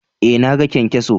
Eh, na gan kyan-kyason.